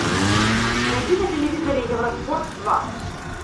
найди на телевизоре евроспорт два